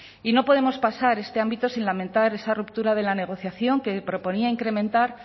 y no podemos pasar este ámbito sin lamentar esa ruptura de la negociación que proponía incrementar